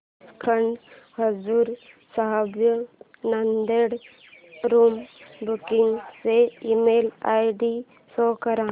Sachkhand Hazur Sahib Nanded room booking चा email ID show कर